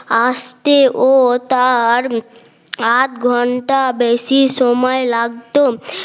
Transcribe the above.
আসতেও তার আধ ঘন্টা বেশি সময় লাগতো